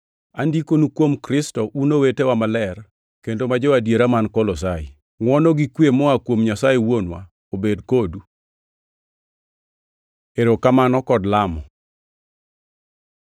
Andikonu kuom Kristo un owetewa maler kendo ma jo-adiera man Kolosai: Ngʼwono gi kwe moa kuom Nyasaye Wuonwa obed kodu. Erokamano kod Lamo